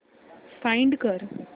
find कर